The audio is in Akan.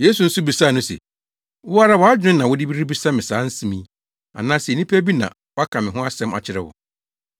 Yesu nso bisaa no se, “Wo ara wʼadwene na wode rebisa me saa asɛm yi, anaasɛ nnipa bi na wɔaka me ho asɛm akyerɛ wo?”